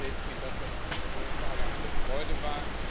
Ich kann bestätigen, dass das für uns alle eine Freude war.